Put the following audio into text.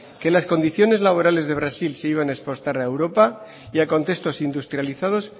que las condiciones laborales de brasil se iban a exportar a europa y a contextos industrializados